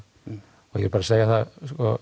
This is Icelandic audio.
og ég vil bara segja það